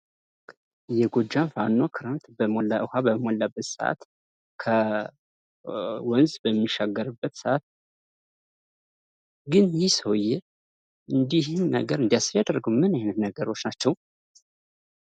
የጎጃም ፋኖ ክረምት ውሃ በሞላበት ሰአት ከወንዝ በሚሻገርበት ሰአት ። ግን ይህ ሰውዬ እንዲህ ይህን ነገር እንዳያስብ ያደረገው ምን አይነት ነገሮች ናቸው?